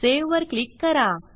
save वर click करा